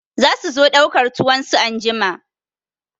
Za su zo ɗaukar tuwon su anjima.